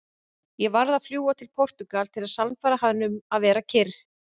Ég varð að fljúga til Portúgal til að sannfæra hann um að vera kyrr.